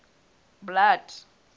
blood